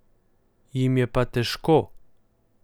Jim je pa težko.